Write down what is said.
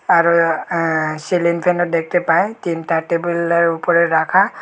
আরও অ্যা আ্য সিলিং ফ্যান -ও দেখতে পাই তিনটা টেবিল -এর উপরে রাখা।